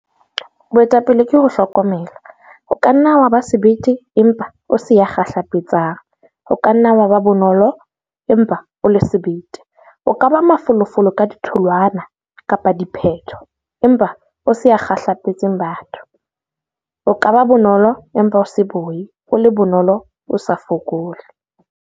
Boetapele ke ho hlokomela. O ka nna wa ba sebete empa o se ya kgahlapetsang, o ka nna wa ba bonolo, empa o le sebete, o ka ba mafolofolo ka ditholwana-diphetho empa o sa kgahlapetse batho, o ka ba bonolo empa o se boi, o le bonolo, o sa fokole.